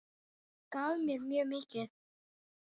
Gaf mér mjög mikið.